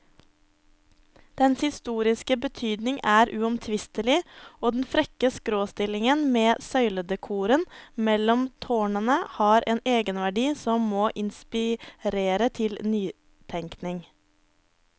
Dens historiske betydning er uomtvistelig, og den frekke skråstillingen med søyledekoren mellom tårnene har en egenverdi som må inspirere til nytenkning.